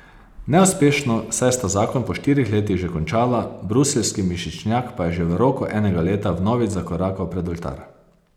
Neuspešno, saj sta zakon po štirih letih že končala, bruseljski mišičnjak pa je že v roku enega leta vnovič zakorakal pred oltar.